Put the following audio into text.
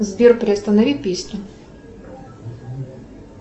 сбер приостанови песню